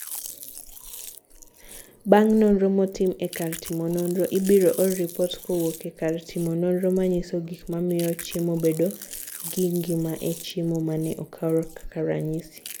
Bang' nonro motim e kar timo nonro, ibiro or ripot kowuok e kar timo nonro manyiso gik mamiyo chiemo bedo gi ngima e chiemo ma ne okaw kaka ranyisi.